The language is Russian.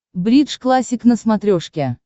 бридж классик на смотрешке